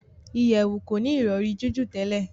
ìyèwù koni Ìrọ̀rí jiju tèlé.